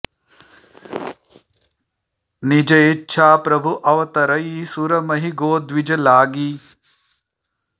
निज इच्छा प्रभु अवतरइ सुर महि गो द्विज लागि